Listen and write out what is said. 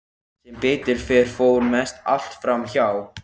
Sem betur fer fór mest allt fram hjá.